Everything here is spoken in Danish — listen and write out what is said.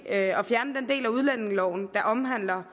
at fjerne den del af udlændingeloven der omhandler